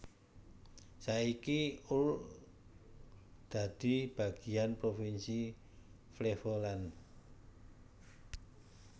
Saiki Urk dadi bagiyan provinsi Flevoland